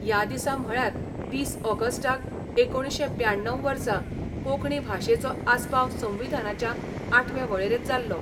या दिसा म्हळ्यार वीस आगस्टाक एकुणशे ब्याण्णव वर्सा कोंकणी भाशेचो आसपाव संविधानाच्या आठवे वळेरेंत जाल्लो.